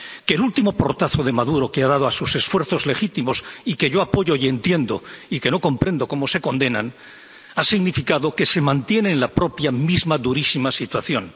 Que el último portazo de Maduro, que ha dado a sus esfuerzos legítimos y que yo apoyo y entiendo, y que no comprendo cómo se condenan, ha significado que se mantiene en la propia misma durísima situación.